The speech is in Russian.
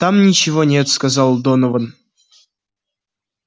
там ничего нет сказал донован